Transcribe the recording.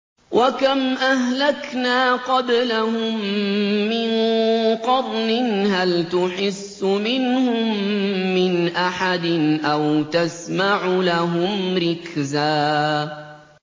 وَكَمْ أَهْلَكْنَا قَبْلَهُم مِّن قَرْنٍ هَلْ تُحِسُّ مِنْهُم مِّنْ أَحَدٍ أَوْ تَسْمَعُ لَهُمْ رِكْزًا